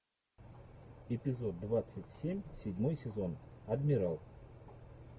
эпизод двадцать семь седьмой сезон адмирал